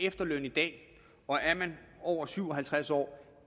efterløn i dag og er man over syv og halvtreds år